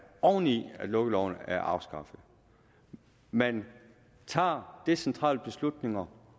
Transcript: oven i at lukkeloven er afskaffet man tager decentrale beslutninger